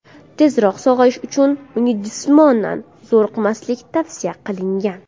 Tezroq sog‘ayish uchun unga jismonan zo‘riqmaslik tavsiya qilingan.